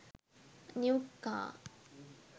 new car